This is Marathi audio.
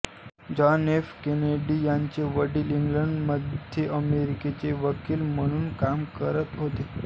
जॉन एफ केनेडी याचे वडील इंग्लंडमध्ये अमेरिकेचे वकील म्हणून काम करत होते